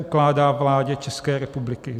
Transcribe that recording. Ukládá vládě České republiky